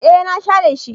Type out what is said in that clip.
E na share shi.